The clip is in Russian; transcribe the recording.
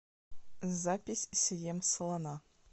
запись съем слона